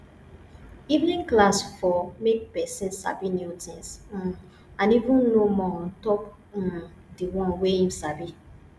evening class for make person sabi new things um and even know more ontop um di one wey im sabi